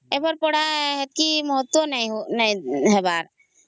ଏବେର ପଢା ର ସେତିକି ମହତ୍ୱ ନାହିଁ ହୋ ହବାର